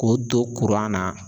K'o don na